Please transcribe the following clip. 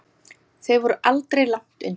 Þau voru aldrei langt undan.